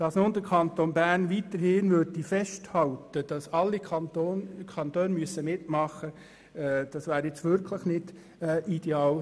Wenn nun der Kanton Bern weiterhin daran festhalten würde, dass alle Kantone sich beteiligen müssen, wäre das wirklich nicht ideal.